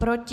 Proti?